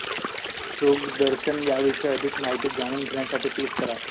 शृंगदर्शन याविषयी अधिक माहिती जाणून घेण्यासाठी क्लिक करा